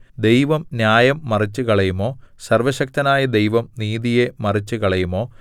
ദൈവം ന്യായം മറിച്ചുകളയുമോ സർവ്വശക്തനായ ദൈവം നീതിയെ മറിച്ചുകളയുമോ